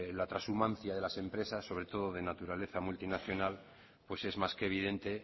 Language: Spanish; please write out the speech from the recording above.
la trashumancia de las empresas sobre todo de naturaleza multinacional pues es más que evidente